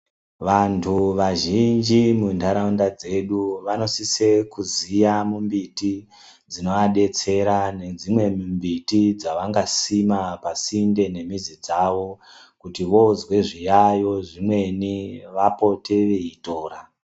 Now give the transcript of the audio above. Vantu vazhinji munharaunda dzedu vanosise kuziya mumbiti dzinovadetsera nedzimwe mimbiti dzavangasima pasinde nemizi yavo kuti voozwa zviyaiyo zvimweni vapote veitora.